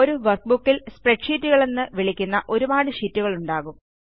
ഒരു വർക്ക്ബുക്കിൽ സ്പ്രെഡ്ഷീറ്റുകളെന്ന് വിളിക്കപ്പെടുന്ന വിളിക്കുന്ന ഒരുപാട് ഷീറ്റുകളുണ്ടാകും